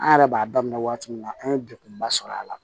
An yɛrɛ b'a daminɛ waati min na an ye degunba sɔrɔ a la